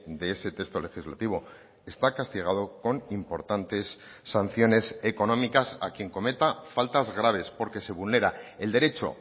de ese texto legislativo está castigado con importantes sanciones económicas a quien cometa faltas graves porque se vulnera el derecho